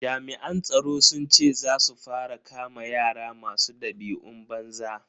Jami'an tsaro sun ce za su fara kama yara masu dabi'un banza.